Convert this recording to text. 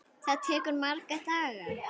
Það tekur marga daga!